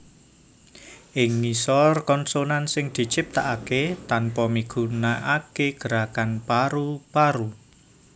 Ing ngisor konsonan sing diciptakaké tanpa migunakaké gerakan paru paru